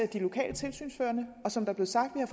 de lokale tilsynsførende og som der blev sagt har